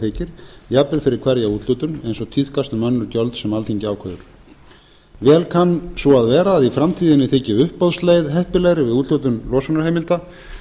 þykir jafnvel fyrir hverja úthlutun eins og tíðkast um önnur gjöld sem alþingi ákveður vel kann svo að vera að í framtíðinni þyki uppboðsleið heppilegri við úthlutun losunarheimilda